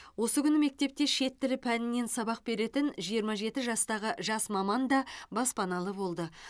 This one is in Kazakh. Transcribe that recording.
осы күні мектепте шет тілі пәнінен сабақ беретін жиырма жеті жастағы жас маман да баспаналы болды